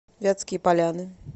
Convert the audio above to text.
вятские поляны